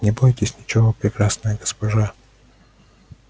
не бойтесь ничего прекрасная госпожа